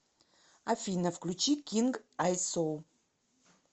афина включи кинг айсо